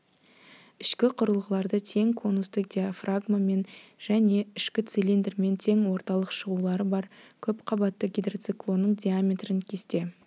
ішкі құрылғылары тең конусты диафрагмамен және ішкі цилиндрмен тең орталық шығулары бар көпқабатты гидроциклонның диаметрін кесте